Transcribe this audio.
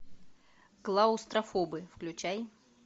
клаустрофобы включай